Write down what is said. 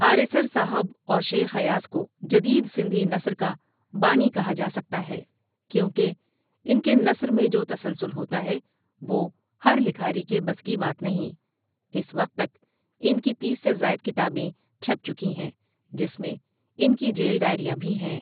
آريسر صاحب اور شیخ ایاز کو جدید سندھی نثر کا بانی کہا جا سکتا ھے کیوں کہ انکے نثر میں جو تسلسل ہوتا ھے وہ ھر لکھاری کے بس کی بات نھیں اس وقت تک انکی تیس سے زاٸد کتابیں چھپ چکی ھی جس میں انکی جیل ڈاٸریاں بھی ھیں۔